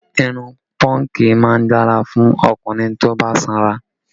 Irun pọ́ǹgì má ń dára fún ọkùnrin tó bá sanra